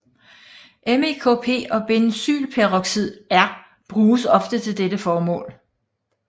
MEKP og benzoylperoxid er bruges ofte til dette formål